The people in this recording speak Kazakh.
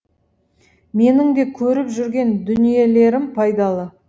менің де көріп жүрген дүниелерім пайдалы